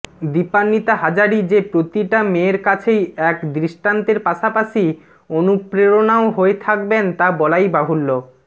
দীপান্বিতা হাজারি যে প্রতিটা মেয়ের কাছেই এক দৃষ্টান্তের পাশাপাশি অনুপ্রেরণাও হয়ে থাকবেন তা বলাই বাহুল্য